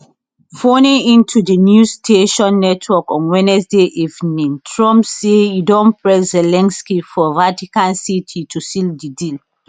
phoning into di newsnation network on wednesday evening trump say e don press zelensky for vatican city to seal di deal